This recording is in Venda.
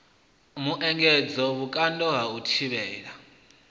muengedzo vhukando ha u thivhela